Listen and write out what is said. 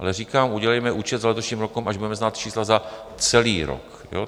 Ale říkám, udělejme účet za letošním rokem, až budeme znát čísla za celý rok.